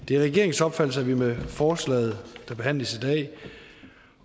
det er regeringens opfattelse at vi med forslaget der behandles i dag